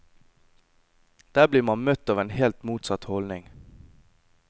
Der blir man møtt av en helt motsatt holdning.